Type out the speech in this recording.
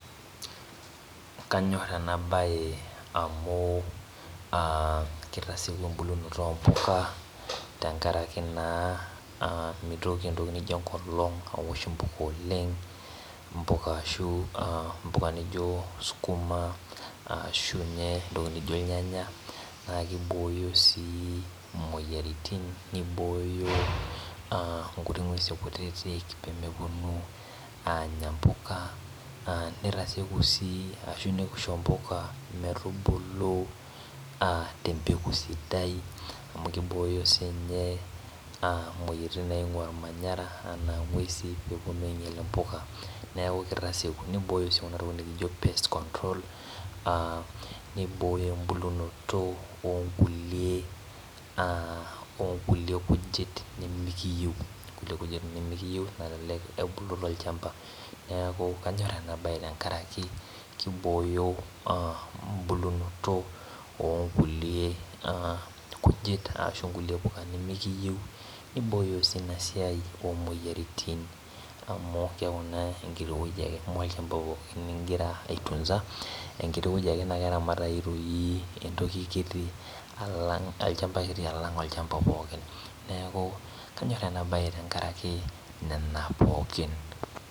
Kanyorr ena bae amu aa kitaseku embulunoto oo mbuka, tenkaraki naa aa mitoki entoki nijo enkolong aosh imbuka oleng',,imbuka nijo sukuma, ashuu inye entoki nijo ilnyanya naa kibooyo sii imoyiaritin, nibooyo inkuti nkuesi kutiti pee meponu aanya imbuka nitaseku sii ashu nisho imbuka metubulu tembeku sidai, amu kibooyo siinye imoyiaritin nainkua olmanyara anaa nkuesi meponu ainyial imbuka neeku kitaseku nibooyo sii entoki nijo pest control nibooyo embulunoto oo nkulie kujit nimikiyieu nebulu tol'chamba. Neeku kanyor ena bae tenkaraki kibooyo embulunoto oo nkulie kujit ashu nkulie nimikiyieu nibooyo tol'chamba. Anyorr ena bae tenkaraki amu kibooyo embulunoto oo nkulie kujit ashu nkulie puka nimikiyieu nibooyo sii ina siai imoyiaritin, amu keeku naa enkiti woji ake olchamba inkira aitunza, naa kreramatayu toi entoki kiti olchamba kiti alang' olchamba pookin kanyorr ena bae tenkaraki nena pookin.